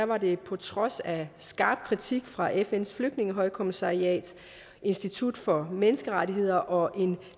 var det på trods af skarp kritik fra fns flygtningehøjkommissariat institut for menneskerettigheder og en